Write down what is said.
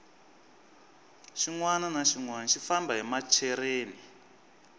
xinwani na xinwani xi famba hi machereni